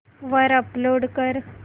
वर अपलोड कर